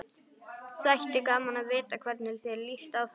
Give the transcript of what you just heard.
Þætti gaman að vita hvernig þér líst á þetta?